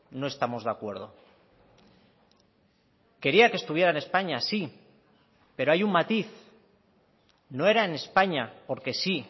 no estamos de acuerdo quería que estuviera en españa sí pero hay un matiz no era en españa porque sí